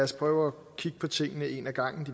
spørge